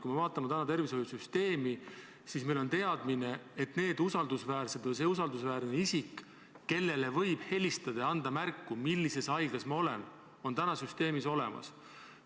Kui vaatame tänast tervishoiusüsteemi, siis on meil teadmine, et need usaldusväärsed isikud või see usaldusväärne isik, kellele võib helistada ja märku anda, millises haiglas ma olen, on süsteemis olemas.